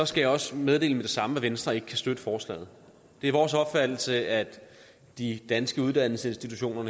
skal jeg også meddele med det samme at venstre ikke kan støtte forslaget det er vores opfattelse at de danske uddannelsesinstitutioner